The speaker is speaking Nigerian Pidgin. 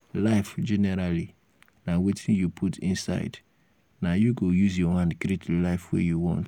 life generally na wetin you put inside na you go use your hand create the life wey you want